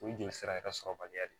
O ye joli sira yɛrɛ sɔrɔbaliya de ye